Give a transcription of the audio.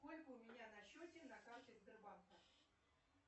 сколько у меня на счете на карте сбербанка